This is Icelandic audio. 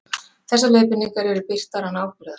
Þessar leiðbeiningar eru birtar án ábyrgðar.